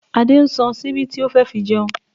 Adé ń san ṣíbí tí ó fẹ́ fi jẹun